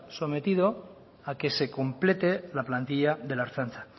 sometido a que se complete la plantilla de la ertzaintza